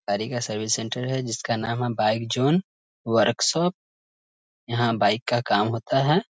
गाड़ी का service centre है जिसका नाम है बाइक जोन वर्कशॉप यहाँ बाइक का काम होता है।